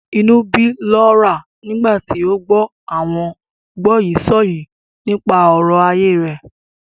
Inú ń bí Laura nígbà tí ó gbọ́ àwọn gbọ́yìísọ̀yìí nípa ọ̀rọ̀ ayé rẹ̀.